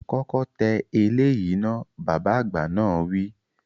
Kọ́kọ́ tẹ eléyìí náà, Bàbá àgbà náà wi